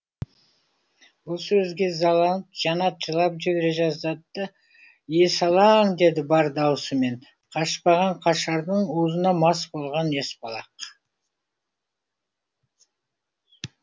бұл сөзге ызаланып жанат жылап жібере жаздады да есалаң деді бар даусымен қашпаған қашардың уызына мас болған есбалақ